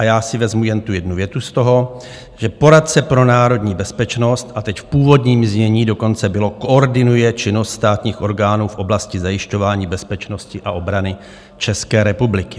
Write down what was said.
A já si vezmu jen tu jednu větu z toho, že "poradce pro národní bezpečnost" - a teď, v původním znění dokonce bylo - "koordinuje činnost státních orgánů v oblasti zajišťování bezpečnosti a obrany České republiky."